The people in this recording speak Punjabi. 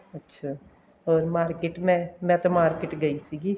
ਅੱਛਾ ਹੋਰ market ਮੈਂ ਮੈਂ ਤਾਂ market ਗਈ ਸੀਗੀ